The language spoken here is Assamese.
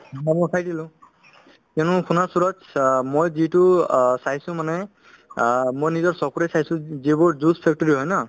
কিয়নো মই যিটো অ চাইছো মানে অ মই নিজৰ চকুৰে চাইছো যিবোৰ juice factory হয় ন